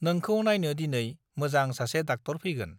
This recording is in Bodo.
नोंखौ नायनो दिनै मोजां सासे डाक्टर फैगोन